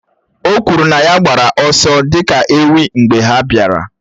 O kwuru na ya gbara ọsọ dị ka ewị́ mgbe ha bịara.